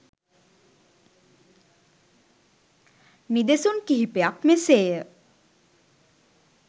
නිදසුන් කිහිපයක් මෙසේ ය.